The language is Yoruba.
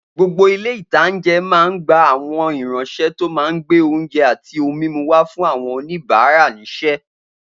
Gbogbo ilé-ìtánjẹ máa n gba àwọn ìránsẹ́ tó máa gbé oúnjẹ àti ohun mímu wà fún àwọn oníbàárà ṣiṣẹ́